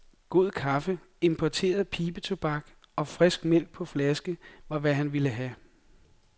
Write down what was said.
God kaffe, importeret pibetobak og frisk mælk på flaske, var hvad han ville have.